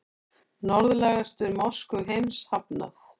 Norðlægustu mosku heims hafnað